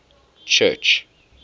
church